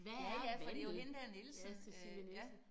Ja ja for det jo hende der Nielsen øh ja